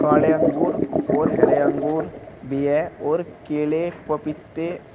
काले अंगूर और हरे अंगूर भी है और केले पपीते--